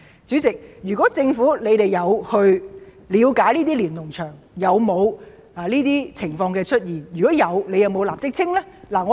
主席，如果政府有了解過在那些連儂牆中有否出現上述情況，有否派人立即清理呢？